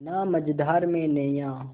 ना मझधार में नैय्या